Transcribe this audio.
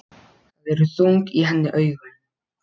Það eru þung í henni augun.